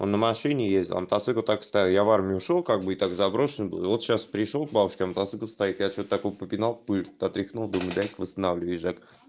он на машине ездит а на мотоцикл так и стоял я в армию ушёл как бы так заброшен был вот сейчас пришёл к бабушке а мотоцикл стоит что то чучуть по пинал пыль отряхнул думаю дай-ка восстановлю и езжать